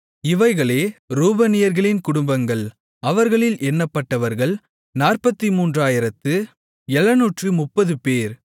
இவைகளே ரூபனியர்களின் குடும்பங்கள் அவர்களில் எண்ணப்பட்டவர்கள் 43730 பேர்